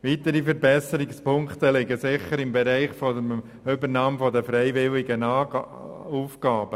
Weitere Verbesserungspunkte liegen im Bereich der Übernahme freiwilliger Aufgaben.